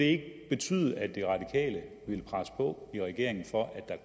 ikke betyde at de radikale ville presse på i regeringen for at der